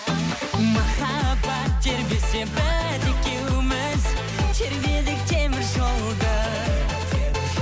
махаббат тербесе біз екеуміз тербедік теміржолды